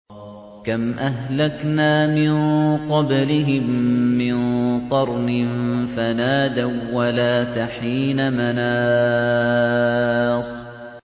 كَمْ أَهْلَكْنَا مِن قَبْلِهِم مِّن قَرْنٍ فَنَادَوا وَّلَاتَ حِينَ مَنَاصٍ